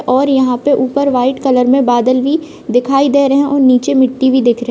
और यहाँ पे ऊपर वाइट कलर में बादल भी दिखाई दे रहे हैं और नीचे मिट्टी भी दिख रही --